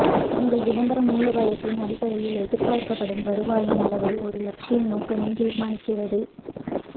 உங்கள் விளம்பர மூலோபாயத்தின் அடிப்படையில் எதிர்பார்க்கப்படும் வருவாயின் அளவை ஒரு லட்சிய நோக்கமே தீர்மானிக்கிறது